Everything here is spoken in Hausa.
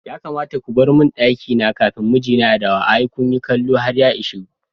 Ya kamata ko barmin ɗakina kafin mijina ya dawo, ai kunyi kallo har ya ishe ko.